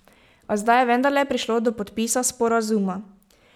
A zdaj je vendarle prišlo do podpisa sporazuma.